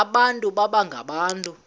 abantu baba ngabantu